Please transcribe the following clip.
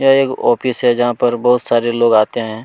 यह एक ऑफिस है जहाँ पर बहुत सारे लोग आते है।